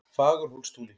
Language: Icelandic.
Fagurhólstúni